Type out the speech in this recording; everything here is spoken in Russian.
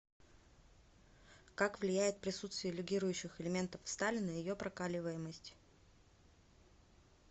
как влияет присутствие легирующих элементов в стали на ее прокаливаемость